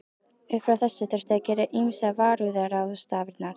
Upp frá þessu þurfti að gera ýmsar varúðarráðstafanir.